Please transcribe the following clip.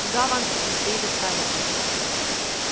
туда вам и предстоит отправиться